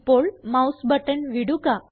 ഇപ്പോൾ mouse button വിടുക